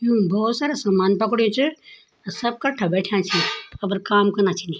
यून भौत सारा समान पकड़यूँ च सब कट्ठा बैठ्याँ छी अपर काम कना छिनी।